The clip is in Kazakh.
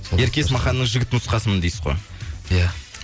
ерке есмаханның жігіт нұсқасымын дейсіз ғой иә